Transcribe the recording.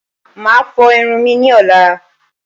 Màá a fo irun mi ní ọ̀la